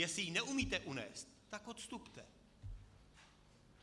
Jestli ji neumíte unést, tak odstupte.